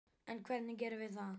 En hvernig gerum við það?